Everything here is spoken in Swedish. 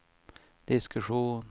diskussion